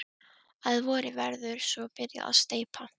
Að vori verður svo byrjað að steypa.